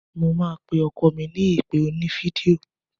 Mo máa pe ọkọ mi ní ìpè oní fídíò.